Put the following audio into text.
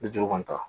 Ni duuru kɔni tɛ